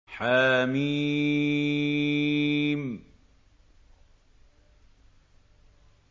حم